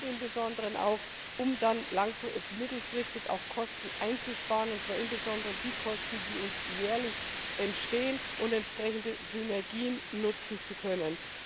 Im Besonderen auch, um dann mittelfristig Kosten einzusparen, und zwar insbesondere die Kosten, die uns jährlich entstehen und um entsprechende Synergien nutzen zu können.